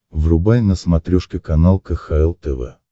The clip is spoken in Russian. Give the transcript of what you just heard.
врубай на смотрешке канал кхл тв